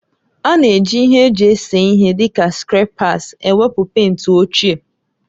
A na-eji ihe eji ese ihe dị ka skrèpas ewepụ pèịnt ochie